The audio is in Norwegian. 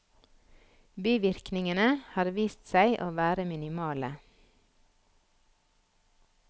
Bivirkningene har vist seg å være minimale.